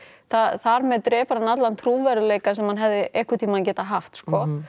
þar með drepur hann allan trúverðugleika sem hann hefði einhverntíman geta haft sko